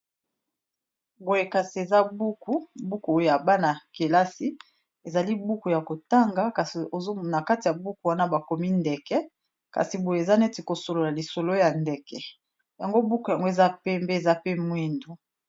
eza buku ,buku oyo ya bana-kelasi ezali buku ya kotanga kasi ozomona kati ya buku wana bakomi ndeke kasi boye eza neti kosolola lisolo ya ndeke yango buku yango eza pembe eza pe mwindu